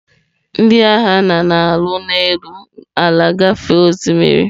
Ndị agha na-alụ n'elu ala gafee osimiri.